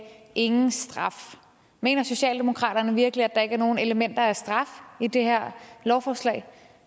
ingen straf mener socialdemokratiet virkelig at der ikke er nogen elementer af straf i det her lovforslag